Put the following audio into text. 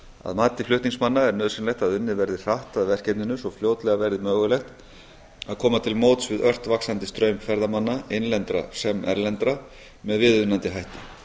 að mati flutningsmanna er nauðsynlegt að unnið verði hratt að verkefninu svo fljótlega verði mögulegt að eða til móts við ört vaxandi straum ferðamanna innlendra sem erlendra með viðunandi hætti